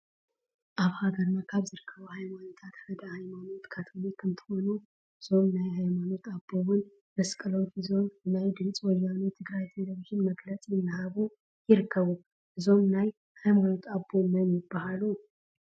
አብ ሃገረና ካበ ዝርከቡ ሃይማኖታት ሓደ ሃየማኖት ካቶሊክ እንትኮኑ እዞም ናይ ሃየማኖት አቦ እውን መስቀሎም ሒዞም ንናየ ድምፂ ወያነ ትግራይ ቴሌቪዝን መግለፅ እናሃቡ ይርከቡ። እዞም ናይ ሃይማኖት አቦ መን ይበሃሉ?